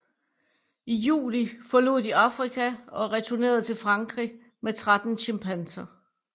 I juli forlod de Afrika og returnerede til Frankrig med 13 chimpanser